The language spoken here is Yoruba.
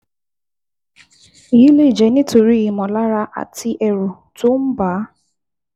Èyí lè jẹ́ nítorí ìmọ̀lára àti ẹ̀rù tó ń bà á